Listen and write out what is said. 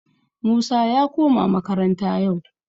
Musa ya koma makaranta yau